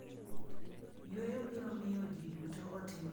"""Yueyo biro miyo ji duto otim maber ma en gima konyo,"" nowacho ni."